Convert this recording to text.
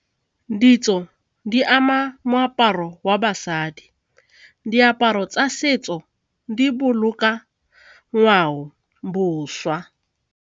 Ditso di ama moaparo wa basadi, diaparo tsa setso di boloka ngwaoboswa.